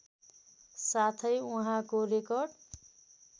साथै उहाँको रेकर्ड